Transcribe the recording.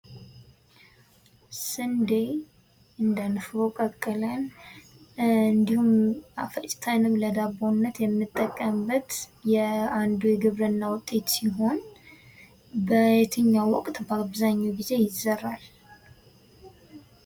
ስንዴ እንደ ንፍሮ ቀቅለን እንድሁም ፈጭተንም ለዳቦነት የምንጠቀምበት አንዱ የግብርና ውጤት ሲሆን በየትኛው ወቅት በአብዛኛው ጊዜ ይዘራል?